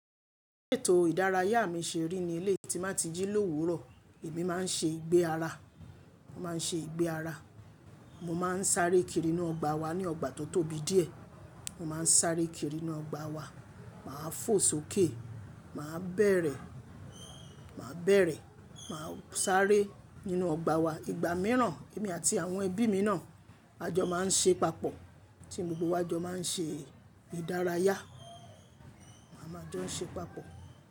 Ètò ìdárayá mi ṣe rí ní eléyi tí n ba ti jí lówùrọ̀, èmi má n ṣe ìgbé ara, mo ma n ṣe ìgbé ara. Mo ma n sáré kiri inú ọgbà wa aní ọgbà tó tóbi díẹ̀. Mo ma n sáré kiri inú ọgbà wa, màá fò sókè, màá bẹ̀rẹ̀, màá bẹ̀rẹ̀, màá sáré nínú ọgbà wa. Ìgbà mìíràn èmi àti àwọn ẹbí mi náà a jọ má n ṣe papọ̀, tí gbogbo wa jọ má n ṣe ìdárayá, a máa jọ n ṣe papọ̀